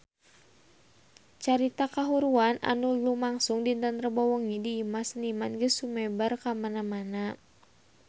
Carita kahuruan anu lumangsung dinten Rebo wengi di Imah Seniman geus sumebar kamana-mana